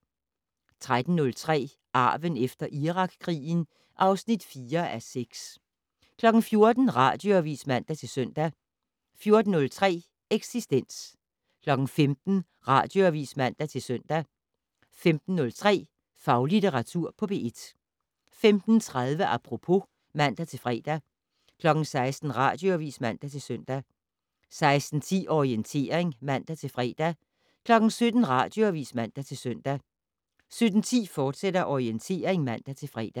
13:03: Arven efter Irakkrigen (4:6) 14:00: Radioavis (man-søn) 14:03: Eksistens 15:00: Radioavis (man-søn) 15:03: Faglitteratur på P1 15:30: Apropos (man-fre) 16:00: Radioavis (man-søn) 16:10: Orientering (man-fre) 17:00: Radioavis (man-søn) 17:10: Orientering, fortsat (man-fre)